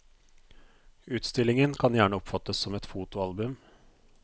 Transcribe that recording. Utstillingen kan gjerne oppfattes som et fotoalbum.